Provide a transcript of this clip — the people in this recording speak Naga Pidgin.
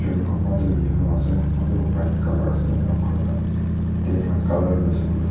aro kunba tu yellow ase kunba toh white colour ase ena kurina tent la colour tu asekuilae tu--